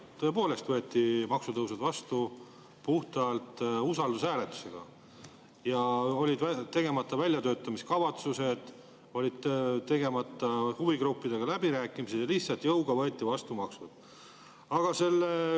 Tõepoolest võeti maksutõusud vastu puhtalt usaldushääletusega ja olid tegemata väljatöötamiskavatsused, olid tegemata huvigruppidega läbirääkimised ja lihtsalt jõuga võeti maksud vastu.